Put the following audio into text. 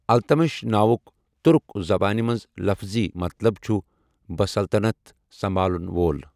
التٗتمِش' ناوُک تٗرک زبانہِ منٛز لفظی مطلب چھٖٗ 'بسلطنت سمبھالن وول '۔